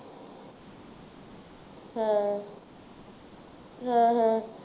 ਹਾਂ, ਹਾਂ ਹਾਂ